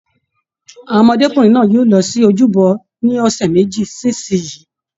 Àwọn ọmọdékunrin náà yóò lọ sí ojúbọ ní ọsẹ méjì sí isinyi.